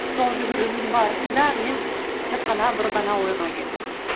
сол жүгірудің барысында мен тек қана бір ғана ойға келдім